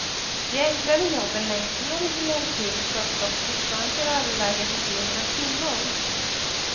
De enklare jobben längst ner i hierarkin sköts dock fortfarande till övervägande delen av kvinnor.